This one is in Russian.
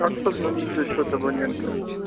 как позвонить за счёт абонента